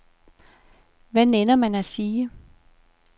Hvad nænner man at sige?